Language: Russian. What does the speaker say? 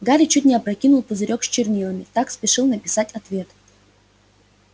гарри чуть не опрокинул пузырёк с чернилами так спешил написать ответ